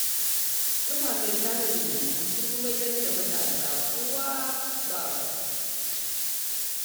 Kafafen sada zumunta sun mayar da matasa uwa ba kwaɓa.